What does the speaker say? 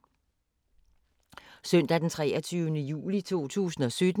Søndag d. 23. juli 2017